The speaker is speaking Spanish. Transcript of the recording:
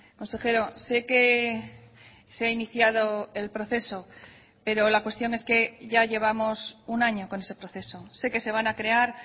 consejero sé que se ha iniciado el proceso pero la cuestión es que ya llevamos un año con ese proceso sé que se van a crear